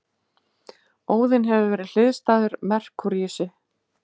Óðinn hefur verið hliðstæður Merkúríusi.